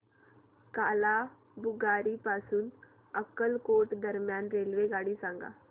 कालाबुरागी पासून अक्कलकोट दरम्यान रेल्वेगाडी सांगा